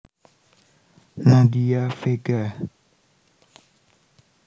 Nadia Vega